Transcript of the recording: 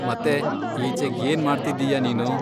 ಮತೇ ಈಚೆಗ್ ಏನ್ ಮಾಡ್ತಿದ್ದೀಯಾ ನೀನು?